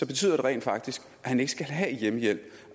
betyder det rent faktisk at han ikke skal have hjemmehjælp